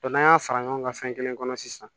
n'an y'a sara ɲɔgɔn ka fɛn kelen kɔnɔ sisan